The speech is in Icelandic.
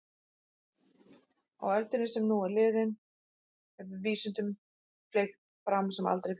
Á öldinni sem nú er liðin hefur vísindunum fleygt fram sem aldrei fyrr.